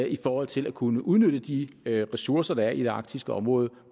i forhold til at kunne udnytte de ressourcer der er i det arktiske område